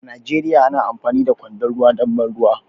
A Najeriya muna amfani da kwandon ruwa don ban ruwa